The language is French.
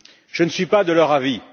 Je ne suis pas de leur avis.